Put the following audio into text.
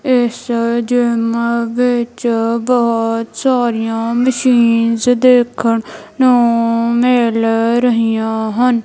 ਇਸਾ gym ਵਿਚ ਬਹੁਤ ਸਾਰੀਆਂ ਮਸ਼ੀਨਸ ਦੇਖਣ ਨੂੰ ਮਿਲ ਰਹੀਆਂ ਹਨ।